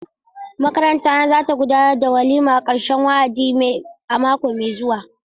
Makaranta na za ta gudanar da waliman karshen wa'adi a wata mai zuwa.